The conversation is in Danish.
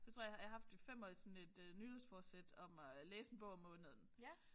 Så tror jeg jeg har haft i 5 år sådan et nytårsfortsæt om at læse en bog om måneden